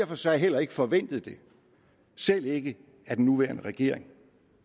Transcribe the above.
for sig heller ikke forventet det selv ikke af den nuværende regering